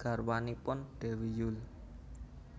garwanipun Déwi Yull